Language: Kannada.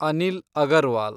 ಅನಿಲ್ ಅಗರ್ವಾಲ್